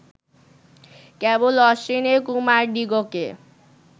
কেবল অশ্বিনীকুমারদিগকে